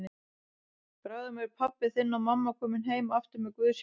Bráðum eru pabbi þinn og mamma komin heim aftur með Guðs hjálp.